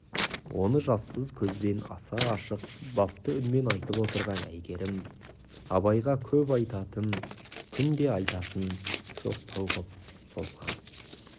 оны жассыз көзбен аса ашық бапты үнмен айтып отырған әйгерім абайға көп айтатын күнде айтатын жоқтау қып созған